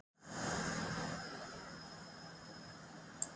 Gosið sem þessu olli var að öllum líkindum í Grímsvötnum.